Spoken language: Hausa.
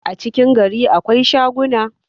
a cikin gari akwai shaguna